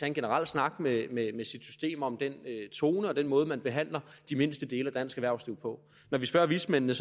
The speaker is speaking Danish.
en generel snak med sit system om den tone og den måde man behandler de mindste dele af dansk erhvervsliv på når vi spørger vismændene